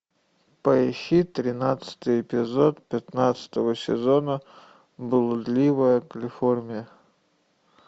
поищи тринадцатый эпизод пятнадцатого сезона блудливая калифорния